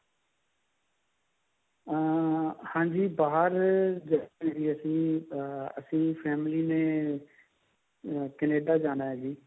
ਅਹ ਹਾਂਜੀ ਬਾਹਰ ਅਹ ਅਸੀਂ family ਨੇ Canada ਜਾਣਾ ਹੈ ਜੀ